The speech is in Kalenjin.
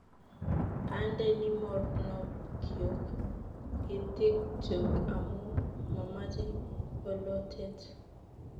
Andeni mornokyuk itinikchuk amu mamache bolotet